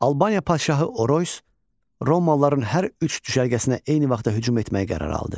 Albaniya padşahı Oroys romalıların hər üç düşərgəsinə eyni vaxtda hücum etmək qərarı aldı.